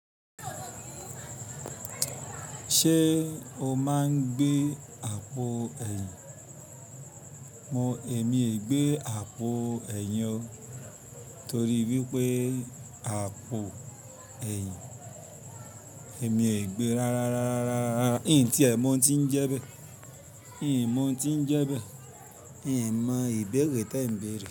Ṣé o máa ń gbé àpò ẹ̀yìn? Mo, èmi è gbé àpò ẹ̀yìn o torí wípé àpò ẹ̀yìn, èmi è gbe rárá rárá rárá rárá rárá. Kín tí ẹ mọ ti ń jẹ bẹ́ẹ̀? Ẹ mọ ti ń jẹ bẹ́ẹ̀ mí mo ìgbérè tí ẹ ń bèrè?